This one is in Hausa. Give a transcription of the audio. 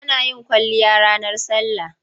Ana yin kwalliya ranar sallah.